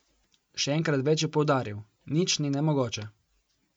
Še enkrat več je poudaril: 'Nič ni nemogoče.